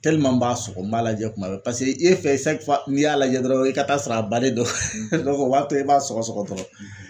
n b'a sɔgɔ n b'a lajɛ kuma bɛɛ pase e fɛ n'i y'a lajɛ dɔrɔn i ka taa'a sɔrɔ a bannen dɔ o b'a to i b'a sɔgɔ-sɔgɔ dɔrɔn.